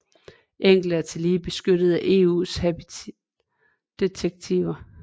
Enkelte er tillige beskyttet af EUs habitat direktiver